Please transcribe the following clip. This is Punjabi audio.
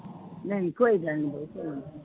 ਨਹੀਂ ਕੋਈ ਗੱਲ ਨੀ, ਕੋਈ ਨਾ।